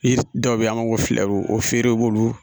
Yiri dɔw be an b'a fɔ ko filɛbu o feren i b'olu